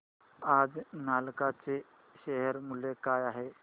आज नालको चे शेअर मूल्य काय आहे